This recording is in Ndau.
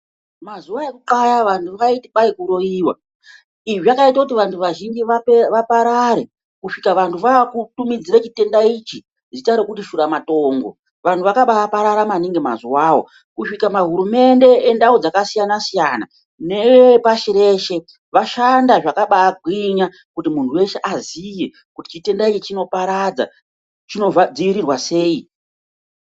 Mazuva ekutxaya vantu vaiti kwai kuroiva. Izvi zvakaita kuti vantu vazhinji vaparare kusvika vantu vakutumidzire chitenda ichi zita rekuti shura matongo. Vantu vakabaparara maningi mazuvavo kusvika mahurumende endau dzkasiyana-siyana, neve pashi reshe vashanda zvakabagwinya kuti muntu veshe aziye kuti chitenda ichi chinoparadza chinodzivirirwa sei